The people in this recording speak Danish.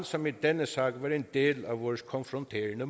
som i denne sag var en del af vores konfronterende